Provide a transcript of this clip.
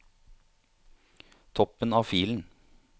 Toppen av filen